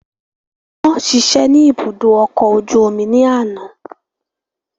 Wọ́n ṣiṣẹ́ ní ibùdó ọkọ̀ ojú omi ní àná